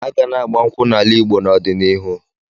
Aga na-agba nkwụ́ n'ala Igbo n'ọdịnihu.